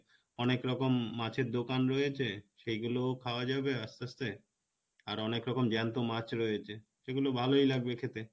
অনেক রকম মাছের দোকান রয়েছে সেইগুলোও খাওয়া যাবে আস্তে আস্তে আর অনেক রকম জ্যান্ত মাছ রয়েছে সেগুলো ভালোই লাগবে খেতে